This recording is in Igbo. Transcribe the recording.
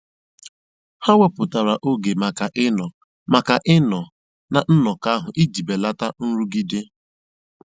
Ha wèpụ̀tàra ógè maka ị̀ Nọ́ maka ị̀ Nọ́ na nnọ́kọ́ ahụ́ ijì bèlátà nrụ́gìdè.